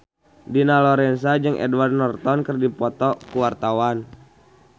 Dina Lorenza jeung Edward Norton keur dipoto ku wartawan